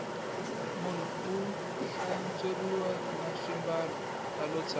munhu u hlantsweriwa na swimbalo alo tshama